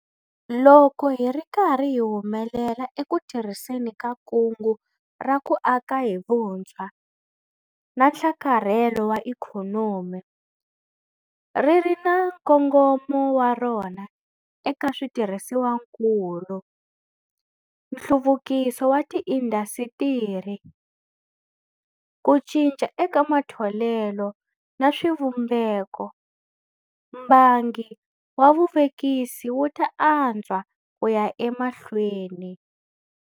Loko hi ri karhi hi humelela eku tirhiseni ka kungu ra ku aka hi vutshwa na nhlakarhelo wa Ikhonomi - ri ri na nkongomo wa rona eka switirhisiwakulu, nhluvukiso wa tiindasitiri, ku cinca eka matholelo na swivumbeko - mbangu wa vuvekisi wu ta antswa ku ya emahlweni.